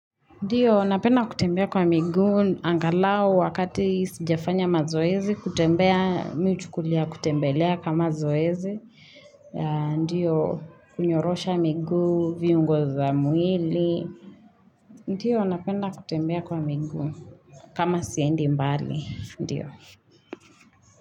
Ndiyo, napenda kutembea kwa miguu, angalau wakati sijafanya mazoezi, kutembea mi uchukulia kutembelea kama zoezi. Ndiyo, kunyorosha miguu, viungo za mwili. Ndiyo, napenda kutembea kwa miguu, kama siendi mbali, ndiyo.